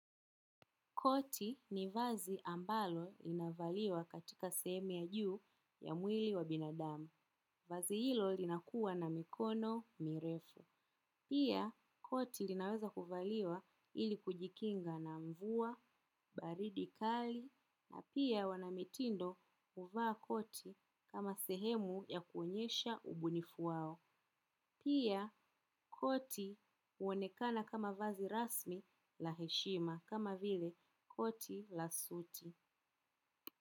Koti ni vazi ambalo linavaliwa katika sehemu ya juu ya mwili wa binadamu. Vazi hilo linakuwa na mikono mirefu. Pia koti linaweza kuvaliwa ili kujikinga na mvua, baridi kali, na pia wanamitindo huvaa koti kama sehemu ya kuonyesha ubunifu wao. Pia koti huonekana kama vazi rasmi la heshima kama vile koti la suti.